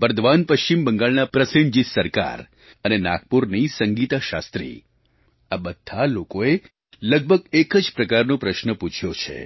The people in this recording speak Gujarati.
બર્દવાન પશ્ચિમ બંગાળના પ્રસેનજીત સરકાર અને નાગપુરની સંગીતા શાસ્ત્રી આ બધાં લોકોએ લગભગ એક જ પ્રકારનો પ્રશ્ન પૂછ્યો છે